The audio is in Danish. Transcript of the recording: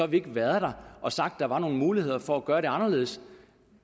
vi ikke har været der og sagt at der var nogle muligheder for at gøre det anderledes